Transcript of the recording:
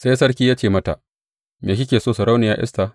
Sai sarki ya ce mata, Me kike so, Sarauniya Esta?